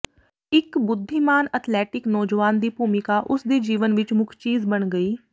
ਇਕ ਬੁੱਧੀਮਾਨ ਅਥਲੈਟਿਕ ਨੌਜਵਾਨ ਦੀ ਭੂਮਿਕਾ ਉਸ ਦੇ ਜੀਵਨ ਵਿਚ ਮੁੱਖ ਚੀਜ਼ ਬਣ ਗਈ